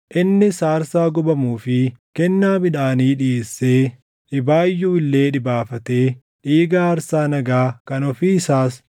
Innis aarsaa gubamuu fi kennaa midhaanii dhiʼeessee dhibaayyuu illee dhibaafatee dhiiga aarsaa nagaa kan ofii isaas iddoo aarsaa sana irratti ni facaase.